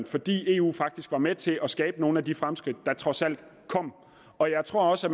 fordi eu faktisk var med til at skabe nogle af de fremskridt der trods alt kom og jeg tror også